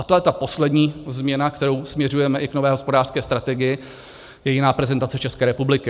A to je ta poslední změna, kterou směřujeme i k nové hospodářské strategii, je jiná prezentace České republiky.